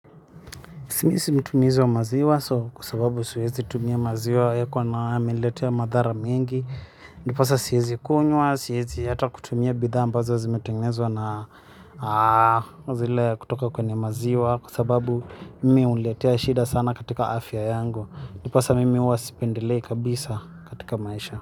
Si mi si mtumizi wa maziwa so kwa sababu suezi tumia maziwa yako na yameletea madhara miengi. Ndiposa siezi kunywa, siezi hata kutumia bidhaa ambazo zimetengenzwa na zile kutoka kwenye maziwa. Kwa sababu mimi huniletea shida sana katika afya yangu. Ndiposa mimi huwa sipendelei kabisa katika maisha.